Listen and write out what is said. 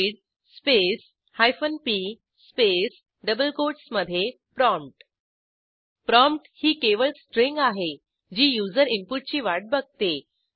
read space hyphen P space double कोटसमधे prompt prompt ही केवळ स्ट्रिंग आहे जी युजर इनपुटची वाट बघते